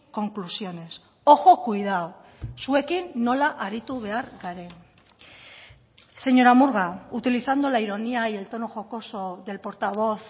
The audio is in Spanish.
conclusiones ojo cuidado zuekin nola aritu behar garen señora murga utilizando la ironía y el tono jocoso del portavoz